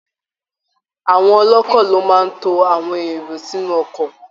Àwọn ọlọ́ọ́kọ ló máa ń to àwọn èrò sinú ọkọ̀